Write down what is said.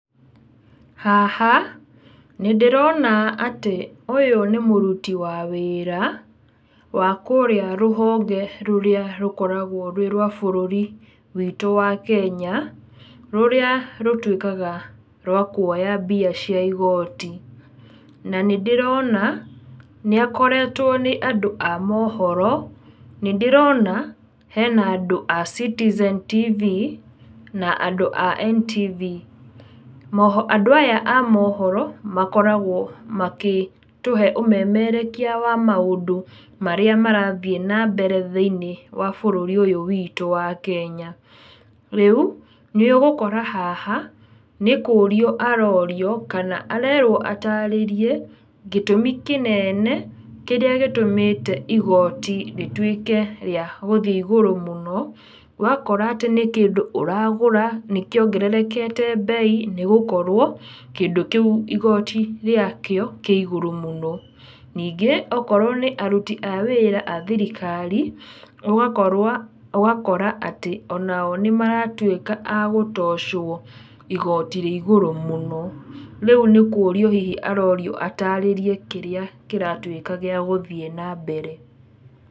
Haha, nĩndĩrona atĩ, ũyũ nĩ mũruti wa wĩra, wa kũrĩa rũhonge rũrĩa rũkoragwo rwĩrwa bũrũri witũ wa Kenya, rũrĩa rũtuĩkaga rwakuoya mbia cia igoti. Na nĩ ndĩrona, nĩ akoretwo nĩ andũ a mohoro. Nĩ ndĩrona hena andũ a Citizen TV, na andũ a NTV. Andũ aya a mohoro, makoragwo makĩtũhe ũmemerekia wa maũndũ marĩa marathiĩ nambere thĩinĩ wa bũrũri ũyũ wĩtũ wa Kenya. Rĩũ, nĩ ũgũkora haha, nĩ kũrio arorio, kana arerwo atarĩrie, gĩtũmi kĩneene, kĩrĩa gĩtũmĩte igoti rĩtuĩke rĩa gũthiĩ igũrũ mũno, ũgakora atĩ nĩ kĩndũ ũragũra, nĩkĩongererekete mbei, nĩgũkorwo kĩndũ kĩu igoti rĩakĩo kĩigũrũ mũno. Ningĩ, okorwo nĩ aruti a wĩra a thirikari, ũgakorwo ũgakora atĩ, onao nĩmaratuĩka a gũtocwo igoti rĩigũrũ mũno. Rĩu nĩ kũrio arorio atarĩrie kĩrĩa kĩratuĩka gĩa gũthiĩ nambere.